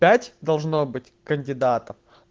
пять должно быть кандидатов